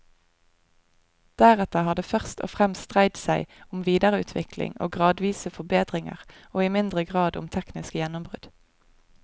Deretter har det først og fremst dreid seg om videreutvikling og gradvise forbedringer, og i mindre grad om tekniske gjennombrudd.